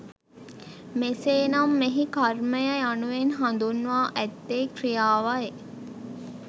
මෙසේ නම් මෙහි කර්මය යනුවෙන් හඳුන්වා ඇත්තේ ක්‍රියාවයි